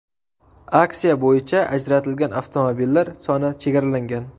Aksiya bo‘yicha ajratilgan avtomobillar soni chegaralangan.